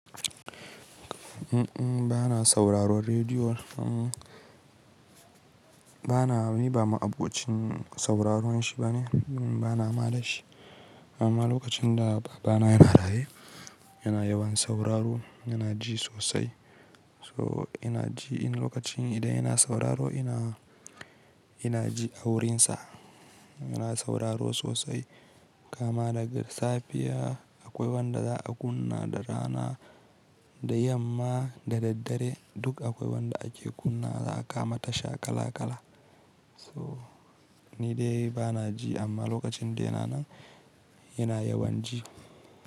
Uhm, bana sauraron rediyo. Bana ni ba ma'abocin sauraron shi ba ne, bana ma da shi. Amma lokacin da baba na yana raye, yana yawan sauraro, yana ji sosai. So ina ji lokacin idan yana sauraro ina, ina ji a wurinsa. Yana sauraro sosai kama daga safiya akwai wanda za a kunna da rana, da yamma, da daddare duk akwai wanda ake kunna za'a kama tasha kala kala. So ni dai bana ji amma lokacin da yana nan yana yawan ji.